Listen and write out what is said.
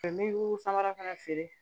N bɛ samara fana feere